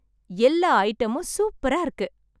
எல்லா ஐட்டமும் சூப்பரா இருக்கு!